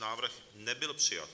Návrh nebyl přijat.